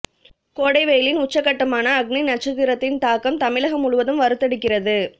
கோடை வெயிலின் உச்சகட்டமான அக்னி நட்சத்திரத்தின் தாக்கம் தமிழகம் முழுவதும் வறுத்தெடுக்கிறது